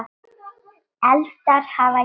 Eldar hafa geisað